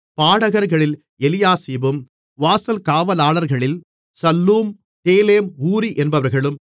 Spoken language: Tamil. பாடகர்களில் எலியாசிபும் வாசல் காவலாளர்களில் சல்லூம் தேலேம் ஊரி என்பவர்களும்